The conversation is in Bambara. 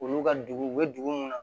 Olu ka dugu u bɛ dugu mun na